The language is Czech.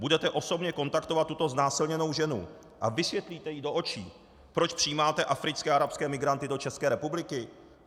Budete osobně kontaktovat tuto znásilněnou ženu a vysvětlíte jí do očí, proč přijímáte africké a arabské migranty do České republiky?